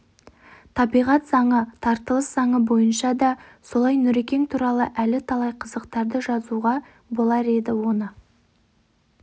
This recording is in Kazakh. табиғат заңы тартылыс заңы бойынша да солай нүрекең туралы әлі талай қызықтарды жазуға болар еді оны